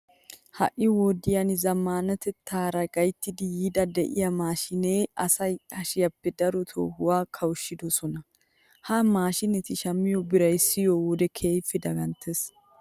Ha"i wodiya zammaanatettaara gayttidi yiiddi de'iya maashiineti asaa hashiyappe daro toohuwa kawushshidosona. Ha maashiineta shammiyo biraa siyiyo wode keehippe daganttees.